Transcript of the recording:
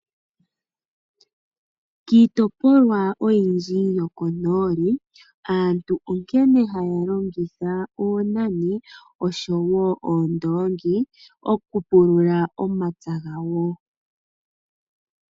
Kiitopolwa oyindji yokonooli aantu onkene haya longitha oonani oshowo oondongi oku pulula omapya gawo.